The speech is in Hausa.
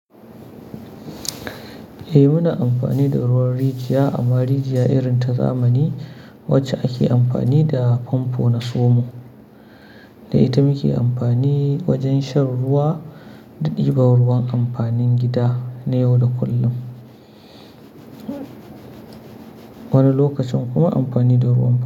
Eh muna amfani da ruwan rijiya amma rijiya irin ta zamani wacce ake amfani da famfo na somo. Da ita muke amfani wajen shan ruwa da ɗiba ruwan amfanin gida na yau da kullum. Wani lokacin kuma amfani da ruwan mu.